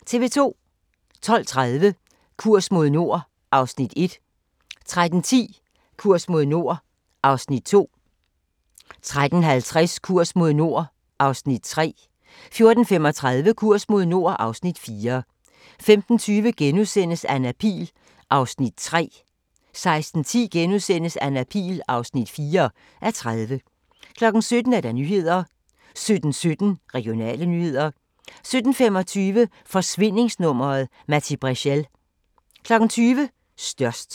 12:30: Kurs mod nord (Afs. 1) 13:10: Kurs mod nord (Afs. 2) 13:50: Kurs mod nord (Afs. 3) 14:35: Kurs mod nord (Afs. 4) 15:20: Anna Pihl (3:30)* 16:10: Anna Pihl (4:30)* 17:00: Nyhederne 17:17: Regionale nyheder 17:25: Forsvindingsnummeret - Matti Breschel 20:00: Størst